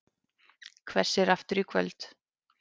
Hvessir aftur í kvöld